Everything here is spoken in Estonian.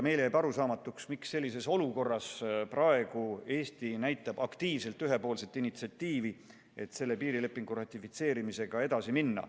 Meile jääb arusaamatuks, miks sellises olukorras Eesti näitab aktiivselt üles ühepoolset initsiatiivi, et piirilepingu ratifitseerimisega edasi minna.